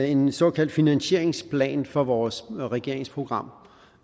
en såkaldt finanseringsplan for vores regeringsprogram